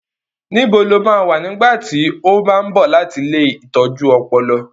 Níbo lo máa wà nígbà tí ó bá ń bọ̀ láti ilée ìtọ́jú ọpọlọ?